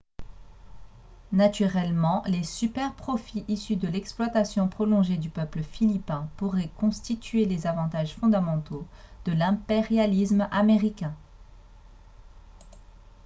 naturellement les superprofits issus de l'exploitation prolongée du peuple philippin pourraient constituer les avantages fondamentaux de l'impérialisme américain